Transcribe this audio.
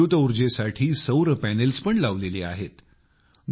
इथे विद्युत ऊर्जेसाठी सौर पॅनेल्स पण लावलेली आहेत